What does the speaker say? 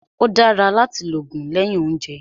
Ó dára láti lògùn lẹ́yìn óúnjẹ